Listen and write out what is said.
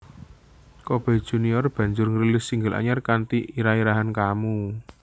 Coboy Junior banjur ngrilis single anyar kanthi irah irahan Kamu